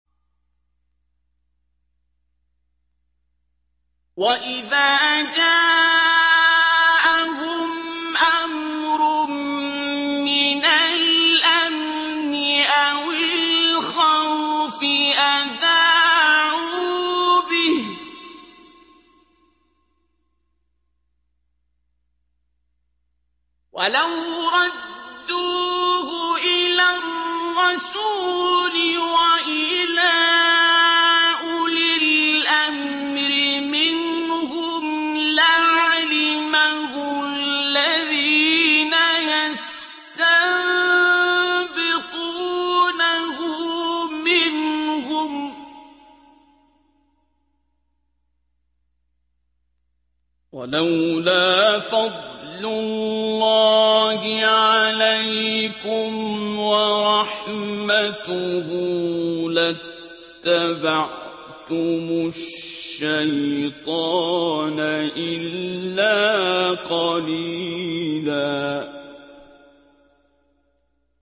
وَإِذَا جَاءَهُمْ أَمْرٌ مِّنَ الْأَمْنِ أَوِ الْخَوْفِ أَذَاعُوا بِهِ ۖ وَلَوْ رَدُّوهُ إِلَى الرَّسُولِ وَإِلَىٰ أُولِي الْأَمْرِ مِنْهُمْ لَعَلِمَهُ الَّذِينَ يَسْتَنبِطُونَهُ مِنْهُمْ ۗ وَلَوْلَا فَضْلُ اللَّهِ عَلَيْكُمْ وَرَحْمَتُهُ لَاتَّبَعْتُمُ الشَّيْطَانَ إِلَّا قَلِيلًا